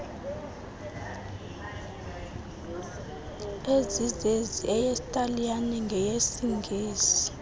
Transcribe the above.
ezizezi eyesitaliyane nyesingesi